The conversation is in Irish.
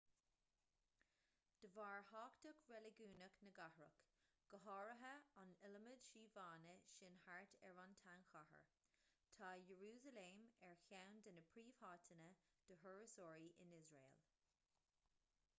de bharr thábhacht reiligiúnach na gcathrach go háirithe an iliomad suíomhanna sin thart ar an tsean-chathair tá iarúsailéim ar cheann de na príomháiteanna do thurasóirí in iosrael